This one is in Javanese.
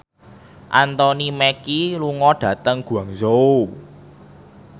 Anthony Mackie lunga dhateng Guangzhou